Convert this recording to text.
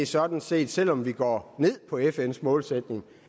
sådan set selv om vi går ned på fns målsætning